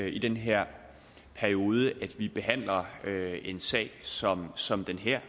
i den her periode at vi behandler en sag som som den her